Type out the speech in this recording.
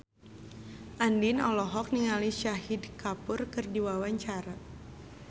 Andien olohok ningali Shahid Kapoor keur diwawancara